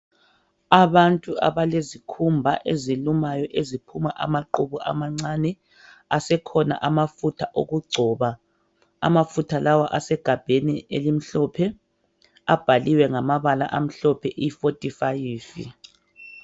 Abantu abalezikhumba ezilumayo eziphuma amaqubu amancane asekhona amafutha okugcoba. Amafutha lawa asegabheni elimhlophe, abhaliwe ngamabala amhlophe "E-45".